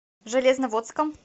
железноводском